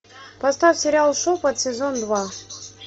поставь сериал шепот сезон два